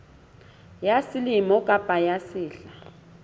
ya selemo kapa ya sehla